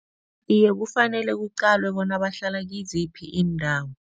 Iye, kufanele kuqalwe bona bahlala kiziphi iindawo.